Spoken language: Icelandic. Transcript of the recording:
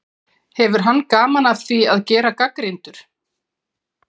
Hefur hann gaman af því að gera gagnrýndur?